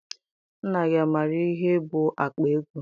Nna gị amaara ihe bụ akpa ego?